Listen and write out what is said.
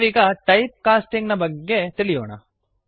ನಾವೀಗ type casting ನ ಬಗೆಗೆ ತಿಳಿಯೋಣ